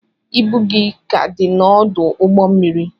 Ibu gị ka dị n'ọdụ ụgbọ mmiri